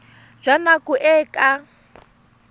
jwa nako e e ka